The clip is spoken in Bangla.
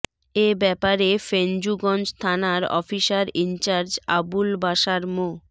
এ ব্যাপারে ফেঞ্চুগঞ্জ থানার অফিসার ইনচার্জ আবুল বাশার মো